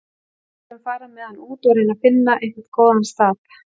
Við skulum fara með hann út og reyna að finna einhvern góðan stað.